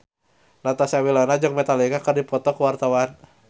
Natasha Wilona jeung Metallica keur dipoto ku wartawan